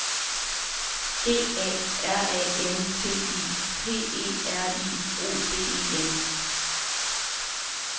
G A R A N T I P E R I O D E N